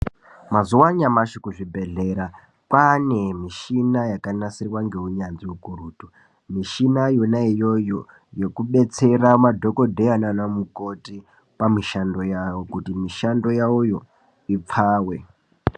Mazuwa anyamashi kuzvibhehlera kwane mushina yakanasirwa neunyanzvi ukurutu mushina Yona iyoyo yokubetsera madhokodheya nana mukoti pamushandi yavo kuti mushando yavo ipfawe.